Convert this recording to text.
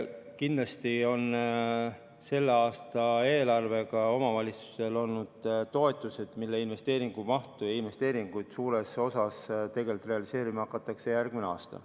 Kindlasti on selle aasta eelarvega saanud omavalitsused toetusi, mille abil investeeringuid hakatakse suures osas tegelikult realiseerima järgmisel aastal.